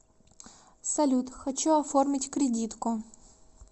салют хочу оформить кредитку